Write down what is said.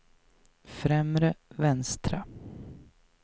främre vänstra